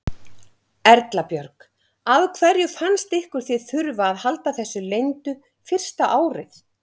Erla Björg: Af hverju fannst ykkur þið þurfa að halda þessu leyndu fyrsta árið?